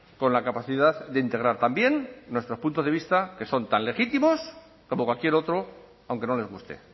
con la capacidad de integrar también nuestro punto de vista que son tan legítimos como cualquier otro aunque no les guste